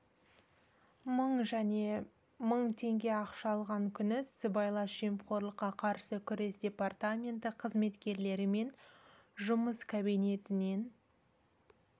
мың және мың теңге ақша алған күні сыбайлас жемқорлыққа қарсы күрес департаменті қызметкерлерімен жұмыс кабинетінен